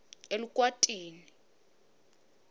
elukwatini